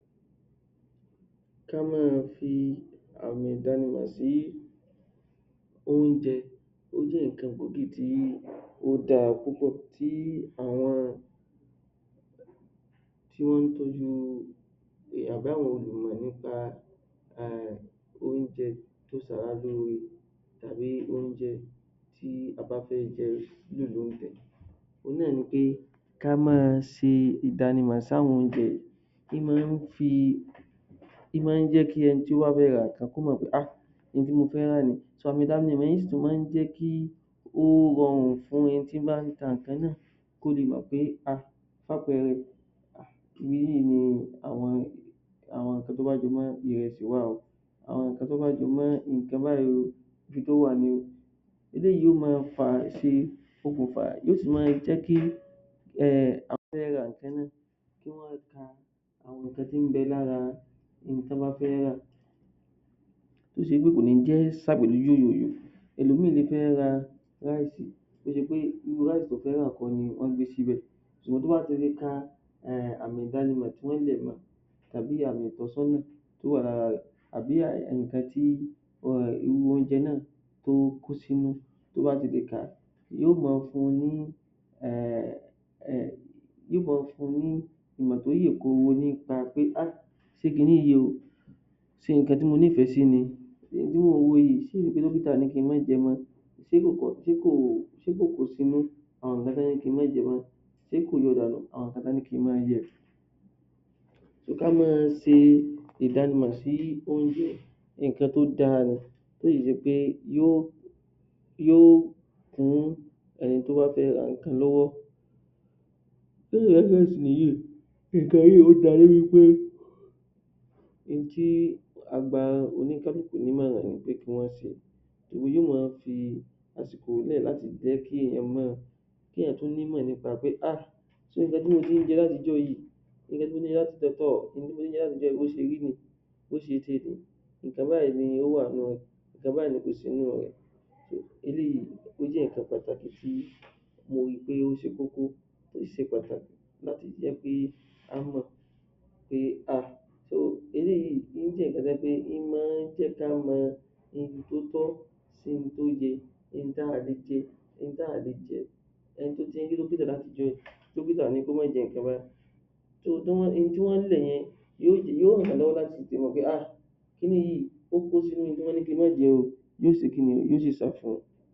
Kí a máa fi àmì ìdánimọ̀ sí oúnjẹ ó jẹ́ nǹkan gbòógi tí ó dáa púpọ̀ tí àwọn tí ń tọ́jú àbá àwọn ènìyàn nípa àrùn, oúnjẹ tí a bá fẹ́ jẹ eléyìí ni pé kí a máa ṣe ìdánimọ̀ sí àwọn oúnjẹ ó máa ń jẹ́ kí ẹni tó bá fẹ́ ra nǹkan kó mọ̀ pé ah ohun tí mo fẹ́ rà yìí, àmí ìdánimọ̀ sì tún máa ń jẹ́ kí ó rọrùn fún ẹni tí ń ba ń ta nǹkan náà kò lè mọ̀ pé ah irú àwọn nǹkan tó bá jẹ mọ́ àwọn nǹkan tó bá jẹ mọ́ gbogbo nǹkan tó bá ń bẹ lára ohun tí wọ́n bá fẹ́ rà tó ṣe pé kò ní jẹ́ ó ẹlòmíì yóò fẹ́ ra rice tó ṣe pé irú rice tó fẹ́ rà kọ́ ni wọ́n gbé síbẹ̀ ṣùgbọ́n tó bá fi lè kan àmì ìdánimọ̀ tí wọ́n lẹ̀ mọ tàbí àmì ìtọ́sọ́nà tó wà lára rẹ̀ àbí àmì kan tí oúnjẹ náà tó kó sínú yó ma fun ní ká máa ṣe ìdánimọ̀ sí orí ẹ̀ nǹkan tó dára ni tó ṣe pé yóò ohun tí a gba oní nímọ̀rà ni kí wọ́n ṣe kí èèyàn tún nímọ̀ nípa pé ah gbogbo nǹkan tí mo ti ń ṣe látijọ́ yìí nǹkan báyìí ló wà nínú rẹ̀, nǹkan báyìí ni kò sí nínú rẹ̀ eléyìí, ó jẹ́ nǹkan pàtàkì tí mo ri pé ó ṣe kókó tó ṣe pàtàkì láti jẹ́ kí a mọ̀ pé ah eléyìí ó jẹ́ nǹkan tó jẹ́ pé ó máa ń jẹ́ kí á mọ Ohun tó tọ́ sí ohun tó yẹ, ohun tí a lè jẹ, ohun tí a ò lè jẹ